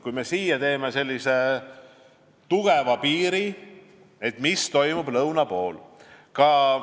Kui me siia teeme tugeva piiri, mis siis toimub lõuna pool?